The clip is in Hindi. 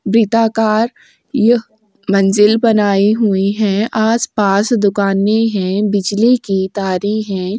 वृताकार यह मंजिल बनाई हुई है आस-पास दुकाने है बिजली की तारे है।